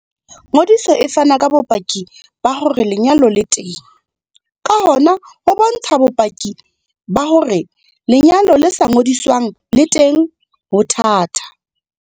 Ngodiso e fana ka bopaki ba hore lenyalo le teng, ka hona ho bontsha bopaki ba hore lenyalo le sa ngodiswang le teng ho thata.